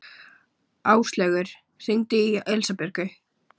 Áslaugur, hringdu í Elísabjörgu.